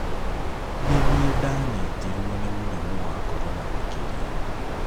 Nĩ niĩ ndanyitirũo nĩ mũrimũ wa corona makĩria".